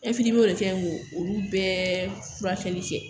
ka ɲi k'olu bɛɛ furakɛli kɛ.